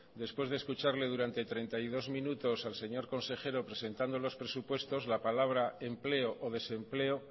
después de escucharle durante treinta y dos minutos al señor consejero presentando los presupuestos la palabra empleo o desempleo